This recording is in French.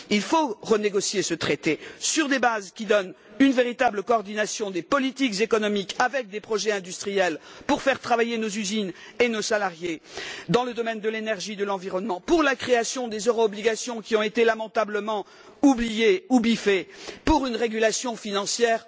Il faut renégocier ce traité, sur des bases qui permettent une véritable coordination des politiques économiques, comprenant des projets industriels pour faire travailler nos usines et nos salariés, des projets dans le domaine de l'énergie et de l'environnement, la création des euro obligations, qui ont été lamentablement oubliées ou biffées, et une régulation financière.